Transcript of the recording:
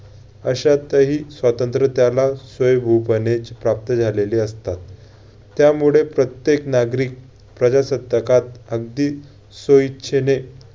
अशातही स्वातंत्र्य त्याला स्वयंभूपणेच प्राप्त झालेले असतात. त्यामुळे प्रत्येक नागरिक प्रजासत्तकात अगदी स्वइच्छेने